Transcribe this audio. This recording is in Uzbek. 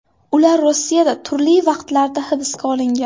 Ular Rossiyada turli vaqtlarda hibsga olingan.